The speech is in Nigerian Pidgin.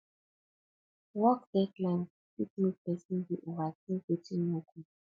work deadline fit mek pesin dey overtink wetin no good